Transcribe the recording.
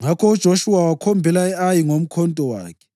Ngakho uJoshuwa wakhombela e-Ayi ngomkhonto wakhe.